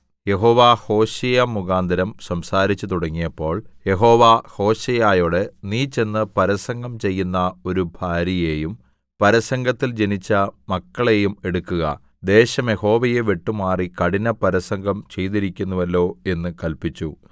യഹോവ ഹോശേയ മുഖാന്തരം സംസാരിച്ചു തുടങ്ങിയപ്പോൾ യഹോവ ഹോശേയയോട് നീ ചെന്ന് പരസംഗം ചെയ്യുന്ന ഒരു ഭാര്യയെയും പരസംഗത്തിൽ ജനിച്ച മക്കളെയും എടുക്കുക ദേശം യഹോവയെ വിട്ടുമാറി കഠിന പരസംഗം ചെയ്തിരിക്കുന്നുവല്ലോ എന്ന് കല്പിച്ചു